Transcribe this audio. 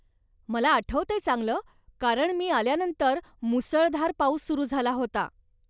मला आठवतंय चांगलं, कारण मी आल्यानंतर मुसळधार पाऊस सुरु झाला होता.